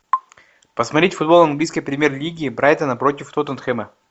посмотреть футбол английской премьер лиги брайтона против тоттенхэма